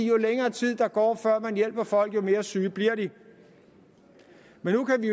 jo længere tid der går før man hjælper folk jo mere syge bliver de men nu kan vi